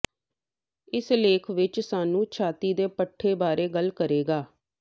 ਇਸ ਲੇਖ ਵਿਚ ਸਾਨੂੰ ਛਾਤੀ ਦੇ ਪੱਠੇ ਬਾਰੇ ਗੱਲ ਕਰੇਗਾ